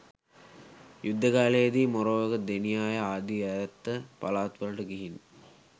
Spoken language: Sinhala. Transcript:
යුද්ධ කාලයේ දී මොරවක, දෙනියාය ආදී ඈත පළාත්වලට ගිහින්